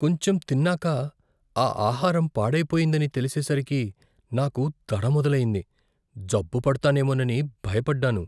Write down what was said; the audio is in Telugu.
కొంచెం తిన్నాక ఆ ఆహారం పాడైపోయిందని తెలిసేసరికి నాకు దడ మొదలయ్యింది. జబ్బు పడతానేమోనని భయపడ్డాను.